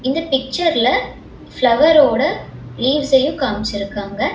இந்த பிக்சர்ல ஃப்ளவரோட லீவ்சயு காம்சிருக்காங்க.